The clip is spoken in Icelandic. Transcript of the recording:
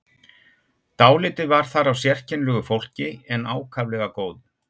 Dálítið var þar af sérkennilegu fólki en ákaflega góðu.